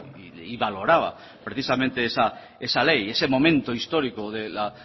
y valoraba precisamente esa ley ese momento histórico de la